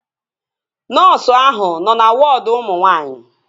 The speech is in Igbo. Nọọsu ahụ nọ na wọọdu ụmụ nwaanyị